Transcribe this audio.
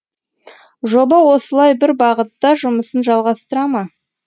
жоба осылай бір бағытта жұмысын жалғастыра ма